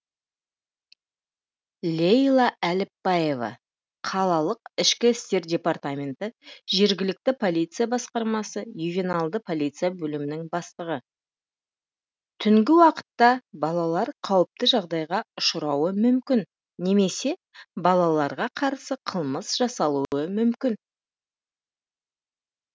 лейла әліпбаева қалалық ішкі істер департаменті жергілікті полиция басқармасы ювеналды полиция бөлімінің бастығы түнгі уақытта балалар қауіпті жағдайға ұшырауы мүмкін немесе балаларға қарсы қылмыс жасалуы мүмкін